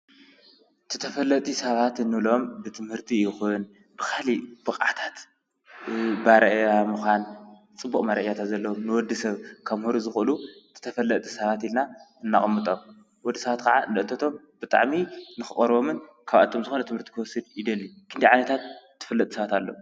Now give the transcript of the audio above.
ተፈጥቲ ሰባት እንሎም ብትምህርቲ ይኹን ብኻሊ ብቅዓታት ብኣርኣያ ምዃን ጽቡቕ መረአያታት ዘሎም ንወዲ ሰብ ከምህሩ ዝዂእሉ ተፈለጥቲ ሰባት ኢልና እነቕምጦም። ወዲ ሳባት ከዓ ንእተቶም ብጣዕሚ ንኽቐርቦምን ካብኣቶም ዝኾን ትምህርቲ ክወስድ ይደልዩ። ክንደይ ዓይነታት ተፈለጥቲ ሳባት ኣሎው?